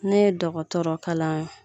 Ne ye dɔgɔtɔrɔ kalan